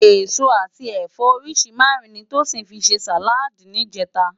Esó ati ẹfọ óriṣi márùn ni Tosin fi sé sáládì nijètá